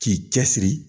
K'i cɛ siri